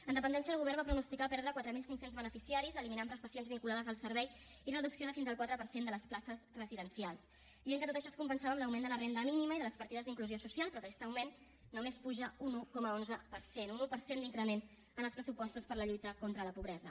en dependència el govern va pronosticar perdre quatre mil cinc cents beneficiaris eliminant prestacions vinculades al servei i reducció de fins al quatre per cent de les places residencials dient que tot això es compensava amb l’augment de la renda mínima i de les partides d’inclusió social però aquest augment només puja un un coma onze per cent un un per cent d’increment en els pressupostos per a la lluita contra la pobresa